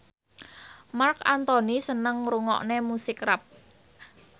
Marc Anthony seneng ngrungokne musik rap